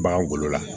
Bagan golo la